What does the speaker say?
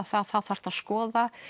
þá þarftu að skoða